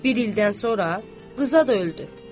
Bir ildən sonra Rza da öldü.